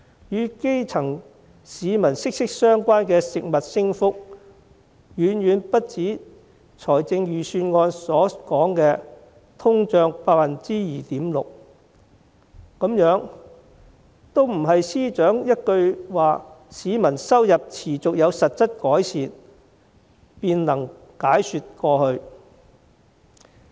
與基層市民息息相關的食物價格升幅，遠遠不止預算案所說的通脹率 2.6%， 這些不是司長說市民收入持續有實質改善便能解說過去。